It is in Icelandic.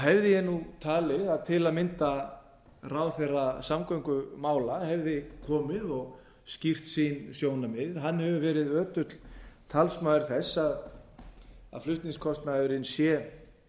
hefði ég talið að til að mynda ráðherra samgöngumála hefði komið og skýrt sín sjónarmið hann hefur verið ötull talsmaður þess að flutningskostnaðurinn sé